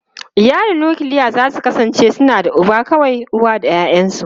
Iyalin nukiliya za su kasance suna da uba kawai, uwa da ’ya’yansu.